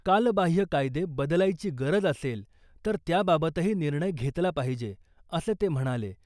कालबाह्य कायदे बदलायची गरज असेल, तर त्याबाबतही निर्णय घेतला पाहिजे, असं ते म्हणाले.